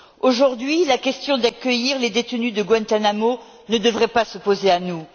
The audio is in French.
Aujourd'hui, la question d'accueillir les détenus de Guantánamo ne devrait pas se poser à nous.